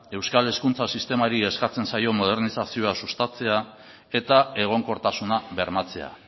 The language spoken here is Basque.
euskal hezkuntza sistemari eskatzen zaion modernizazioa sustatzea eta egonkortasuna bermatzea